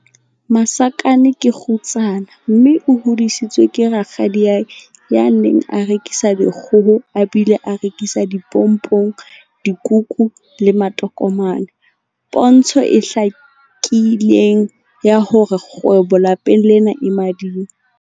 Masakane ke kgutsana mme o hodisitswe ke rakgadiae ya neng a rekisa dikgoho a bile a rekisa dipompong, dikuku le matokomane, pontsho e hlakileng ya hore kgwebo lapeng lena e mading.